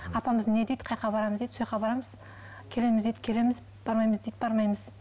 апамыз не дейді барамыз дейді барамыз келеміз дейді келеміз бармаймыз дейді бармаймыз